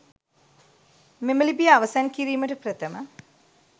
මෙම ලිපිය අවසන් කිරීමට ප්‍රථම